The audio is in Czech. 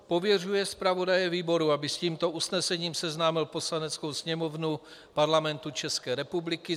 Pověřuje zpravodaje výboru, aby s tímto usnesením seznámil Poslaneckou sněmovnu Parlamentu České republiky.